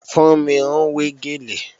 Fúnmi ń wé gèlè